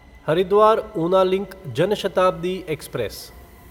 Haridwar Una link Jan Shatabdi express